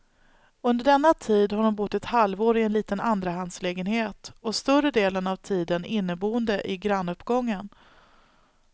Under denna tid har hon bott ett halvår i en liten andrahandslägenhet, och större delen av tiden inneboende i grannuppgången.